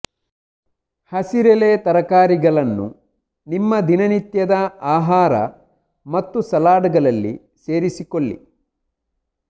ಹಸಿರೆಳೆ ತರಕಾರಿಗಳನ್ನು ನಿಮ್ಮ ದಿನನಿತ್ಯದ ಆಹಾರ ಮತ್ತು ಸಲಾಡ್ ಗಳಲ್ಲಿ ಸೇರಿಸಿಕೊಳ್ಳಿ